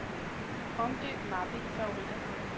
Omdøb mappe i favoritter.